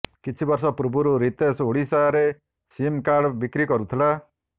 କିଛି ବର୍ଷ ପୂର୍ବରୁ ରିତେଶ ଓଡ଼ିଶାରେ ସିମ୍ କାର୍ଡ଼ ବିକ୍ରି କରୁଥିଲେ